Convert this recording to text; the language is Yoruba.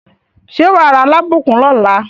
Ṣé wà á ra Alábùkún lọ́la?